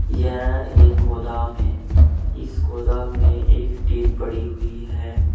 यह एक गोदाम है इस गोदाम में एक टीन पड़ी हुई है।